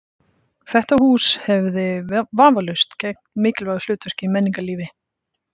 Þetta hús hefði vafalaust gegnt mikilvægu hlutverki í menningarlífi